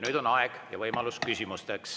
Nüüd on aeg ja võimalus küsida.